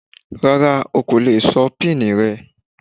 Rárá ò kò lè sọ pini rẹ.